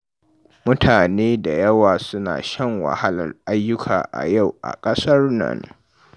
Mutane da yawa suna shan wahalar ayyuka a yau a ƙasar nan.